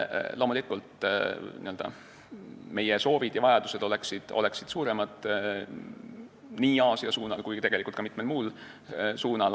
Loomulikult on meie soovid ja vajadused suuremad nii Aasia kui ka mitmel muul suunal.